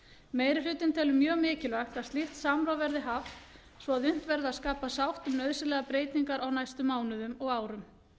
meiri hlutinn telur mjög mikilvægt að slíkt samráð verði haft svo að unnt verði að skapa sátt um nauðsynlegar breytingar á næstu mánuðum og árum